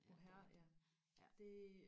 mohair ja det